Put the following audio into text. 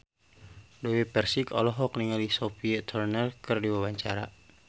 Dewi Persik olohok ningali Sophie Turner keur diwawancara